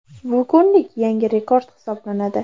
Bu kunlik yangi rekord hisoblanadi .